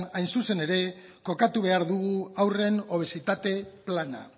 hain zuzen era kokatu behar dugu haurren obesitate plana